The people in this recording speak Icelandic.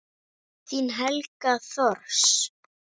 Þín Helga Thors.